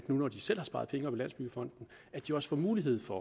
nu hvor de selv har sparet pengene op i landsbyggefonden også får mulighed for